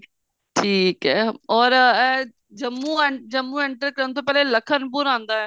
ਠੀਕ ਏ or ਇਹ ਜੰਮੂ ਜੰਮੂ enter ਕਰਨ ਤੋਂ ਪਹਿਲੇ ਲਖਨਪੁਰ ਆਉਂਦਾ